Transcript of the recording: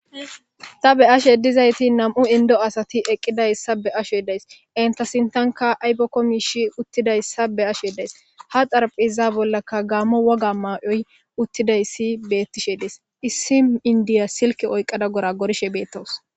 ta be ashe dizayti nam7u indo asati eqqidayssa be ashe days enta sintanka aybokko miishi uttidayssa be ashe days ha xarap iza bollaka gaamo woga maayoy uttidayssi bettishe des issi indiya silke oyqada gora gorshe beettows